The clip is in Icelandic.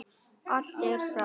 Allt er saga.